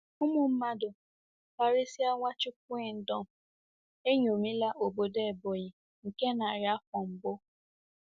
Ụmụ mmadụ, karịsịa Nwachukwuendom, eṅomila obodo Ebonyi nke narị afọ mbụ.